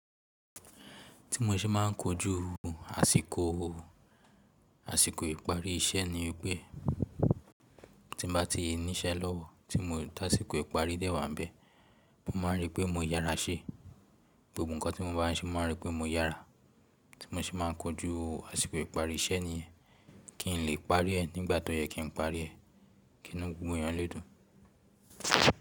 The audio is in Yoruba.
Tí mo ṣe máà ń kojú àsìkò, àsìkò ìparí iṣẹ́ ni pé tí mo bá ti ní iṣẹ́ lọ́wọ́ tí mo dá àsìkò ìparí dẹ́wàá bẹ́ẹ̀, mo máa rí pé mo yára ṣe. Gbogbo ǹkan tí mo bá rí ṣe máa rí pé mo yára. Tí mo ṣe máà ń kojú àsìkò ìparí iṣẹ́ ni ye kí n lè parí ẹ nígbà tó yẹ kí n parí ẹ, kí n inu gbogbo èèyàn lédùn.